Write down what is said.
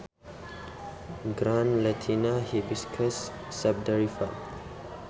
Ngran latinna Hibiscus sabdariffa.